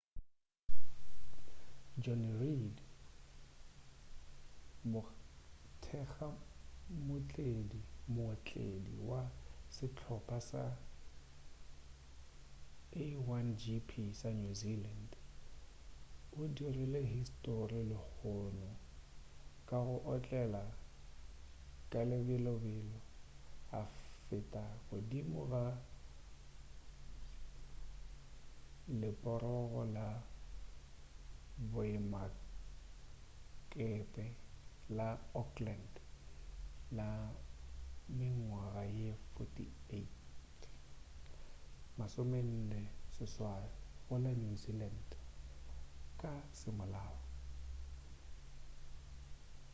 jonny reid mothekga-mootledi wa sehlopha sa a1gp sa new zealand o dirile histori lehono ka go otlela ka lebelobelo a feta godimo ga leporogo la boemakepe la auckland la mengwaga ye 48 go la new zealand ka semolao